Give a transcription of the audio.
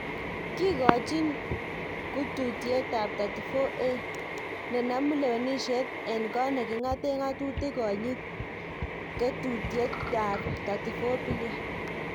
Kikochin kututiet ab 34A ne nomu lewenisiet en kot ninga'ten ngatutik konyit ketutiet ab 34B